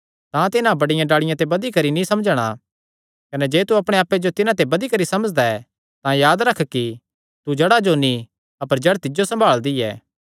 तां तिन्हां बड्डियां डाल़िआं ते बधी करी नीं समझणा कने जे तू अपणे आप्पे जो तिन्हां ते बधी करी समझदा ऐ तां याद रख कि तू जड़ा जो नीं अपर जड़ तिज्जो सम्भालदी ऐ